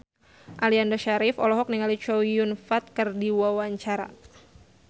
Aliando Syarif olohok ningali Chow Yun Fat keur diwawancara